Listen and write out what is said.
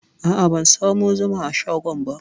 A'a, ban samu zuma a shagon ba.